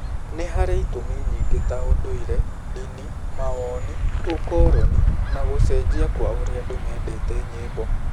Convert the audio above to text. Nĩ harĩ gĩtũmi nyingĩ ta, ũndũire, ndini, mawoni, ũkoroni na gũcenjia kwa ũrĩa andũ mendete nyĩmbo.